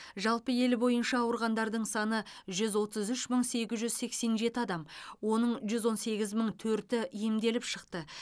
жалпы ел бойынша ауырғандардың саны жүз отыз үш мың сегіз жүз сексен жеті адам оның жүз он сегіз мың төрті емделіп шықты